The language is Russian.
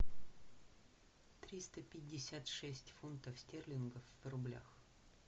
триста пятьдесят шесть фунтов стерлингов в рублях